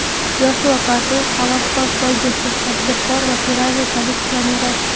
Joshua Kartuhavaskor poygachi, tadbirkor va Ferrari kolleksioneri.